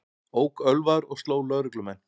Ók ölvaður og sló lögreglumenn